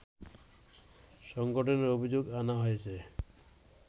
সংগঠনের অভিযোগ আনা হয়েছে